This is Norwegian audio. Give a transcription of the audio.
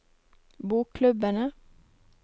bokklubbene